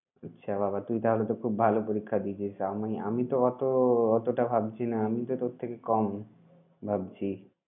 আচ্ছা বাবা তাহলে তো তুই খুব ভালো পরীক্ষা দিয়েছিস আমি আমি তো অত অতটা ভাবছি না আমি তো তোর থেকে কম ভাবছি।